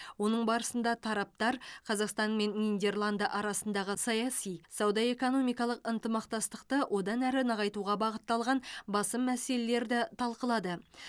оның барысында тараптар қазақстан мен нидерланд арасындағы саяси сауда экономикалық ынтымақтастықты одан әрі нығайтуға бағытталған басым мәселелерді талқылады